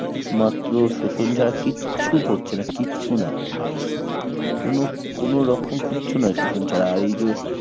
মাত্র শোষণ ছাড়া কিছু করছে না কিচ্ছু না কোন কোন রকম কিচ্ছু না শোষণ ছাড়া আর এই যে